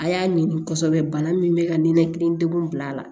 A y'a ɲini kosɛbɛ bana min bɛ ka nin nekili degun bila a la